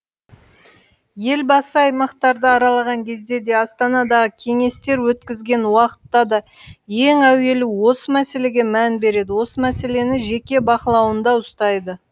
елбасы аймақтарды аралаған кезде де астанадағы кеңестер өткізген уақытта да ең әуелі осы мәселеге мән береді осы мәселені жеке бақылауында ұстайды